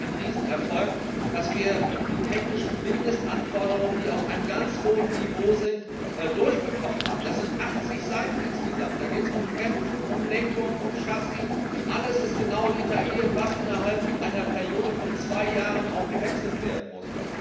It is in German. Es ist ein Riesenerfolg, dass wir die technischen Mindestanforderungen, die auf einem ganz hohen Niveau sind, durchbekommen haben. Das sind insgesamt 80Seiten. Da geht es um Bremsen, um Lenkung, um Chassis, alles ist genau festgelegt, was innerhalb einer Periode von zwei Jahren ausgetauscht werden muss.